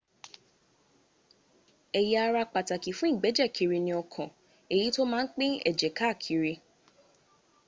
ẹ̀yà ara pàtàkì fún ìgbẹ́jẹ̀ kiri ni ọkàn èyí tó má ń pín ẹ̀jẹ̀ káàkiri